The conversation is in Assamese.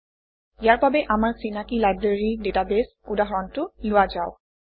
ইয়াৰ বাবে আমাৰ চিনাকি লাইব্ৰেৰী ডাটাবেছ উদাহৰণটো লোৱা যাওক